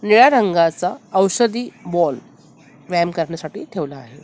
निळ्या रंगाचा औषधी बॉल व्यायाम करण्यासाठी ठेवला आहे.